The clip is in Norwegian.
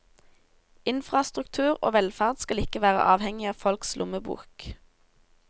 Infrastruktur og velferd skal ikke være avhengig av folks lommebok.